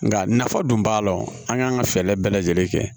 Nka nafa dun b'a la an kan ka fɛɛrɛ bɛɛ lajɛlen kɛ